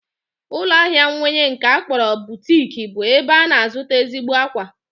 Ụlọahịa mweyi nke a kpọrọ butik bụ ebe a na-azụta ezigbo akwa